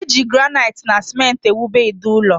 Eji granaiti na simenti ewube ide ụlọ